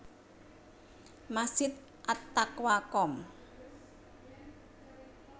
Masjid At Taqwa Komp